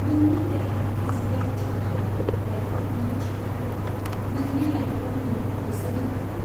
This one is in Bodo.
नोंनि देहा फिजिकेल थिग थागोन, लाइफआव नों थिग थागोन, नोंनि लाइफखौ नों होसोनो हागोन।